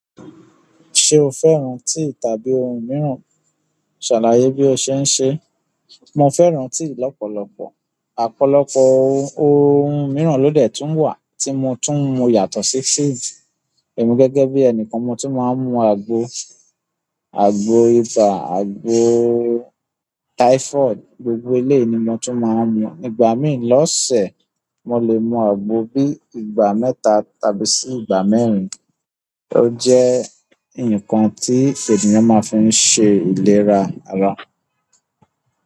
Ṣé o fẹ́ràn tíì tàbí ohun mìíràn? Shalaye bi o se n se. Mo fẹ́ràn tíì lọ́pọ̀lọpọ̀. Ọ̀pọ̀lọpọ̀ ohun mìíràn ló dẹ̀ tún wà tí mo tún mu yàtọ̀ sí síìjì. Èmi gẹ́gẹ́ bí ẹnìkan mo tún máa ń mu àgbo, àgbo ibà, àgbo typhoid, gbogbo ilé ni mo tún máa ń mu. Ìgbà mìí lọ́ọ̀sẹ̀ mo lè mu àgbo bí i ìgbà mẹ́ta tàbí sí ìgbà mẹ́rin. Ó jẹ́ ǹkan tí ènìyàn máa fi ń ṣe ìlera ara.